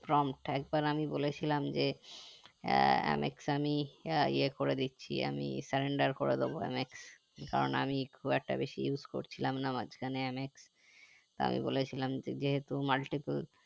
একবার আমি বলেছিলাম যে আহ mx আমি আহ এ করে দিচ্ছি আমি cylinder করে দেবো MX কারণ আমি খুব একটা বেশি use করছিলাম না মাঝখানে mx তো আমি বলেছিলাম যেহুতু multiple